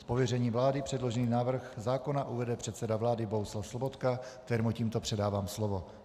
Z pověření vlády předložený návrh zákona uvede předseda vlády Bohuslav Sobotka, kterému tímto předávám slovo.